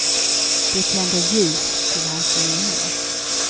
De tänder ljus till hans minne.